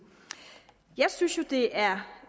jeg synes jo det er